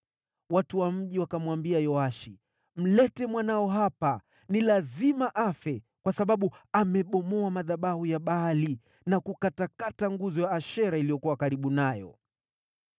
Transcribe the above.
Watu wa mji wakamwambia Yoashi, “Mlete mwanao hapa. Ni lazima afe, kwa sababu amebomoa madhabahu ya Baali na kukatakata nguzo ya Ashera iliyokuwa karibu nayo.”